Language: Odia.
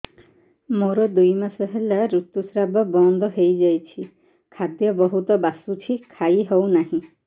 ମୋର ଦୁଇ ମାସ ହେଲା ଋତୁ ସ୍ରାବ ବନ୍ଦ ହେଇଯାଇଛି ଖାଦ୍ୟ ବହୁତ ବାସୁଛି ଖାଇ ହଉ ନାହିଁ